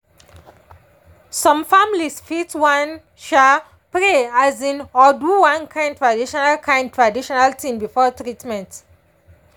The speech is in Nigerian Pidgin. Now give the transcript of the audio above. some families fit wan um pray um or do one kind traditional kind traditional thing before treatment.